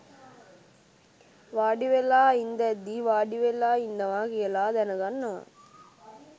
වාඩිවෙලා ඉන්දැද්දී වාඩිවෙලා ඉන්නවා කියල දැනගන්නවා